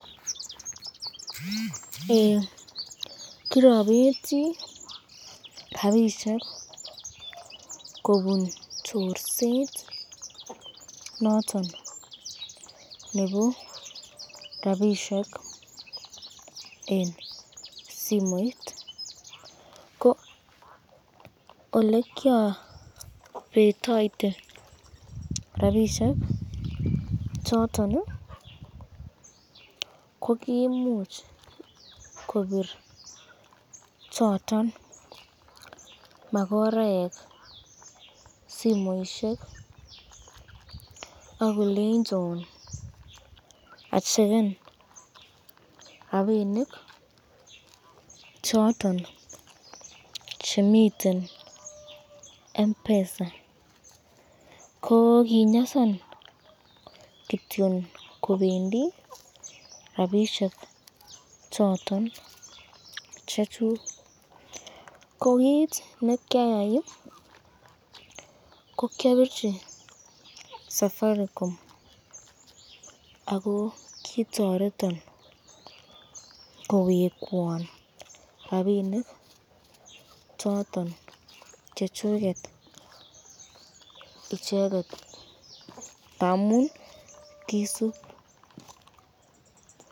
Eee kirabeti kobur chorset noton nebo rapishek eng simoit, ko olekyobetoite rapishek choton, ko koimuch kobit choton makoraek simoisyek ak kolenjon acheken rapinik choton chemiten Mpesa, ko kinyasan kityon kobendi rapishek choton chechuk, ko kit nekyayai ko kyabirchi safaricom ,ako kitoretin kowekwan rapinik choton chechuket icheket, ngamun kisub.